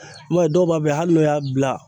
I m'a ye dɔw b'a fɛ hali n'u y'a bila